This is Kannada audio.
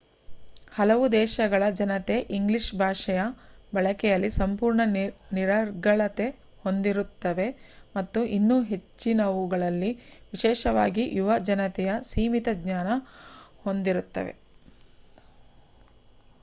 ಹಲವು ದೇಶಗಳ ಜನತೆ ಇಂಗ್ಲೀಷ್ ಭಾಷೆಯ ಬಳಕೆಯಲ್ಲಿ ಸಂಪೂರ್ಣ ನಿರರ್ಗಳತೆ ಹೊಂದಿರುತ್ತವೆ ಮತ್ತು ಇನ್ನು ಹೆಚ್ಚಿನವುಗಳಲ್ಲಿ ವಿಶೇಷವಾಗಿ ಯುವ ಜನತೆಯು ಸೀಮಿತ ಜ್ಞಾನ ಹೊಂದಿರುತ್ತವೆ